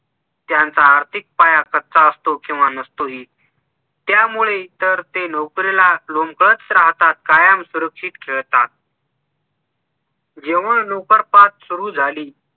त्यांचा आर्थिक पाया कच्चा असतो किंवा नसतोही त्यामुळे तर ते नोकरीला लोमकळत राहतात कायम सुरक्षित खेळतात जेव्हा नोकरपाठ सुरु झाली